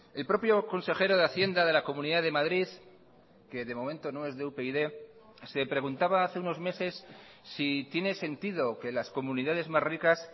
el propio consejero de hacienda de la comunidad de madrid que de momento no es de upyd se preguntaba hace unos meses si tiene sentido que las comunidades más ricas